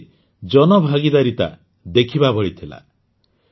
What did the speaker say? ଏଥିରେ ଜନଭାଗିଦାରିତା ଦେଖିବା ଭଳି ଥିଲା